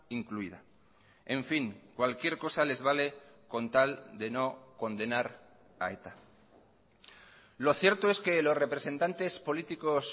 incluida en fin cualquier cosa les vale con tal de no condenar a eta lo cierto es que los representantes políticos